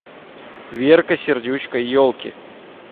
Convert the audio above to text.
верка сердючка елки